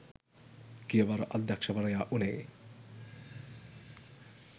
ගියවර අධ්‍යක්ෂකවරයා වුණේ